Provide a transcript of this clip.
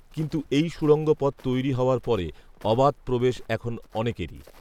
কিন্তু এই সুড়ঙ্গ পথ তৈরি হওয়ার পরে অবাধ প্রবেশ এখন অনেকেরই